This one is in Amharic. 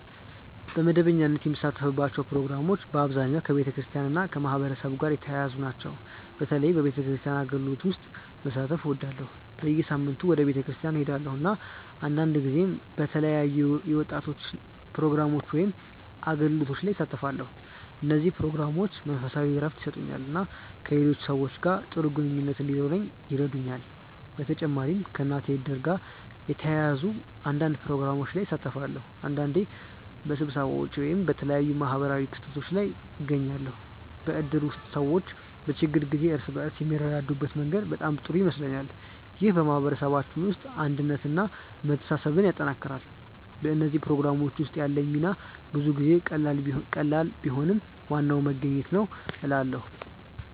በመደበኛነት የምሳተፍባቸው ፕሮግራሞች በአብዛኛው ከቤተክርስቲያን እና ከማህበረሰብ ጋር የተያያዙ ናቸው። በተለይ በቤተክርስቲያን አገልግሎቶች ውስጥ መሳተፍ እወዳለሁ። በየሳምንቱ ወደ ቤተክርስቲያን እሄዳለሁ፣ እና አንዳንድ ጊዜ በተለያዩ የወጣቶች ፕሮግራሞች ወይም አገልግሎቶች ላይ እሳተፋለሁ። እነዚህ ፕሮግራሞች መንፈሳዊ እረፍት ይሰጡኛል እና ከሌሎች ሰዎች ጋር ጥሩ ግንኙነት እንዲኖረኝ ይረዱኛል። በተጨማሪም ከእናቴ እድር ጋር የተያያዙ አንዳንድ ፕሮግራሞች ላይ እሳተፋለሁ። አንዳንዴ በስብሰባዎች ወይም በተለያዩ ማህበራዊ ክስተቶች ላይ እገኛለሁ። በእድር ውስጥ ሰዎች በችግር ጊዜ እርስ በርስ የሚረዳዱበት መንገድ በጣም ጥሩ ይመስለኛል። ይህ በማህበረሰባችን ውስጥ አንድነትን እና መተሳሰብን ያጠናክራል። በእነዚህ ፕሮግራሞች ውስጥ ያለኝ ሚና ብዙ ጊዜ ቀላል ቢሆንም ዋናው መገኘት ነው እላለ